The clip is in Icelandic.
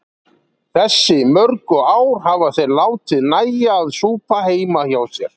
Þessi mörgu ár hafa þeir látið nægja að súpa heima hjá sér.